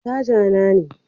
Caja na ne.